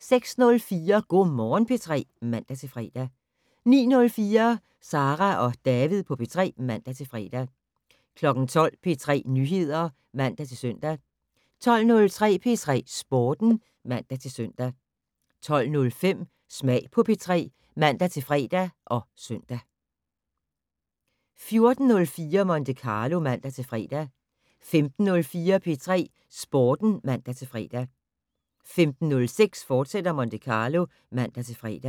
06:04: Go' Morgen P3 (man-fre) 09:04: Sara og David på P3 (man-fre) 12:00: P3 Nyheder (man-søn) 12:03: P3 Sporten (man-søn) 12:05: Smag på P3 (man-fre og søn) 14:04: Monte Carlo (man-fre) 15:04: P3 Sporten (man-fre) 15:06: Monte Carlo, fortsat (man-fre)